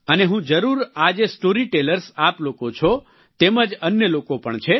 અને હું જરૂર આ જે સ્ટોરી ટેલર્સ આપ લોકો છો તેમજ અન્ય લોકો પણ છે